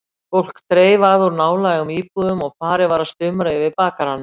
Fólk dreif að úr nálægum íbúðum og farið var að stumra yfir bakaranum.